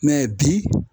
bi